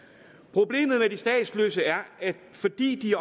problemet med de statsløse er at de fordi de